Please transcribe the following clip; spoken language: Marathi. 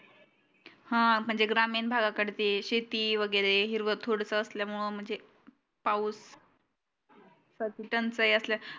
हा म्हणजे ग्रामीण भाग कडे ते शेती वागेरे हिरव थोडस असल्यामूळ म्हणजे पाऊस सची टंचाई असल्या